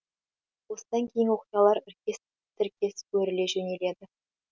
осыдан кейінгі оқиғалар іркес тіркес өріле жөнеледі